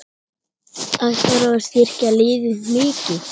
Ætlarðu að styrkja liðið mikið?